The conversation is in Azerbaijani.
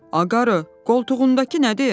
“Aqarı, qoltuğundakı nədir?”